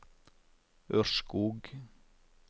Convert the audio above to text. Ørskog